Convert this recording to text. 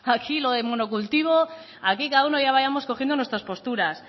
aquí lo de monocultivo aquí cada uno ya vayamos cogiendo nuestras posturas